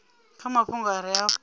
kha mafhungo a re afho